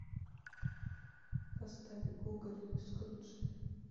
поставь гоголь скруджи